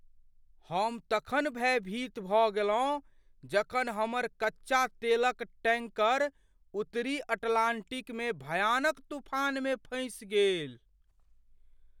हम तखन भयभीत भऽ गेलहुँ जखन हमर कच्चा तेलक टैंकर उत्तरी अटलान्टिकमे भयानक तूफानमे फँसि गेल।